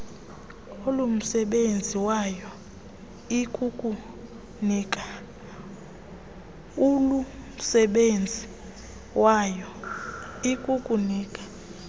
olumsebenzi wayo ikukunika